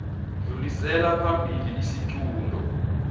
dlulisela phambili isiqunto